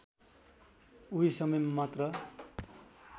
उही समयमा मात्र